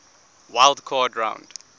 wild card round